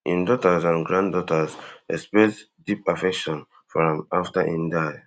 in daughters and granddaughter express deep affection for am afta im die